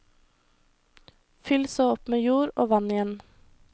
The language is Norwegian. Fyll så opp med jord, og vann igjen.